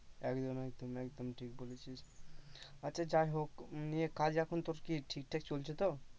একদম একদম একদম ঠিক বলেছিস আচ্ছা যাই হোক নিয়ে কাজ এখন তোর কি ঠিকঠাক চলছে তো?